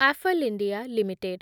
Affle India limited